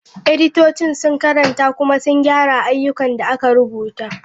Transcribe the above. Editocin sun karanta kuma sun gyara ayyukan da aka rubuta.